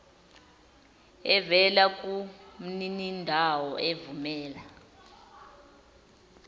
evela kumninindawo evumela